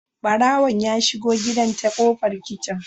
Barawon ya shigo gidan ta kofar kicin